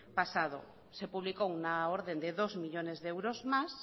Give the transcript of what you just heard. pasado se publicó una orden de dos millónes de euros más